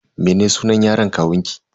Mene sunan yaron kawunki?